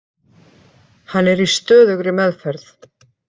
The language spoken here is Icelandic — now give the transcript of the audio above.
Hann er í stöðugri meðferð.